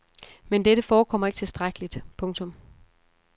Men dette forekommer ikke tilstrækkeligt. punktum